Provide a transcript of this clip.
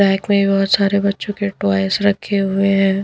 Back में बहुत सारे बच्चों के टॉइस रखे हुए हैं।